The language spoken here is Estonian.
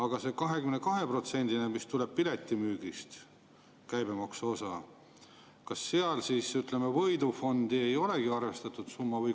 Kuid see 22%‑line käibemaksuosa, mis tuleb piletimüügist, kas seal võidufondi ei olegi arvestatud?